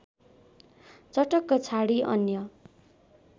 चटक्क छाडी अन्य